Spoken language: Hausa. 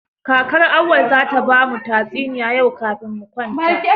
Kakar Auwal zata ba mu tatsuniya yau kafin mu kwanta.